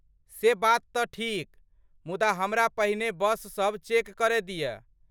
से बात तँ ठीक। मुदा हमरा पहिने बस सब चेक करय दिअ।